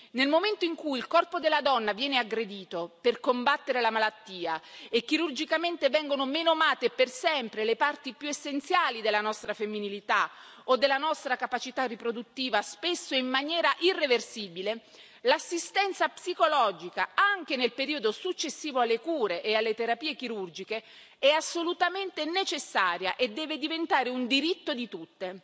Nel momento in cui il corpo della donna viene aggredito per combattere la malattia e chirurgicamente vengono menomate per sempre le parti più essenziali della nostra femminilità o della nostra capacità riproduttiva, spesso in maniera irreversibile, l'assistenza psicologica, anche nel periodo successivo alle cure e alle terapie chirurgiche, è assolutamente necessaria e deve diventare un diritto di tutte.